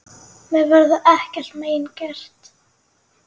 Mér verður ekkert mein gert.